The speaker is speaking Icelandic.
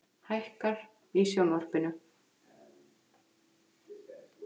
Hækkar í sjónvarpinu.